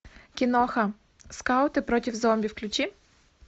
киноха скауты против зомби включи